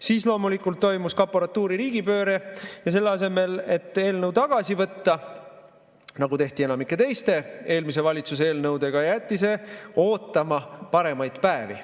Siis loomulikult toimus kaporatuuri riigipööre ja selle asemel, et eelnõu tagasi võtta, nagu tehti enamike teiste eelmise valitsuse eelnõudega, jäeti see ootama paremaid päevi.